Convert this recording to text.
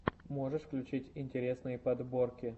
можешь включить интересные подборки